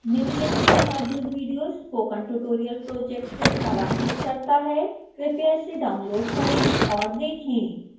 निम्न लिंक पर मौजूद विडियो स्पोकन ट्यूटोरियल प्रोजेक्ट को सारांशित करता है कृपया इसे डाउनलोड करें और देखें